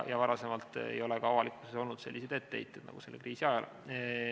Varem ei ole avalikkusel olnud selliseid etteheiteid nagu selle kriisi ajal.